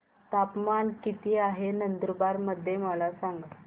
तापमान किता आहे नंदुरबार मध्ये मला सांगा